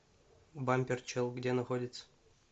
бампер чел где находится